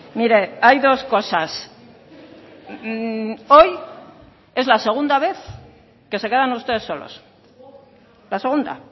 mire hay dos cosas hoy es la segunda vez que se quedan ustedes solos la segunda